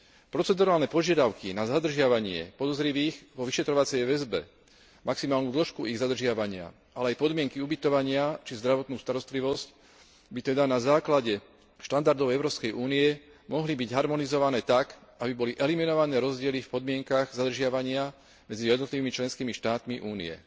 Procedurálne požiadavky na zadržiavanie podozrivých vo vyšetrovacej väzbe, maximálnu dĺžku ich zadržiavania, ale aj podmienky ubytovania či zdravotnú starostlivosť by teda na základe štandardov Európskej únie mohli byť harmonizované tak, aby boli eliminované rozdiely v podmienkach zadržiavania medzi jednotlivými členskými štátmi Únie.